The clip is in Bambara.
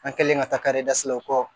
An kɛlen ka taa karedasilaw kɔ